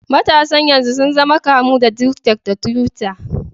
Matasan yanzu sun zama kamu da tik tak da tiwitta.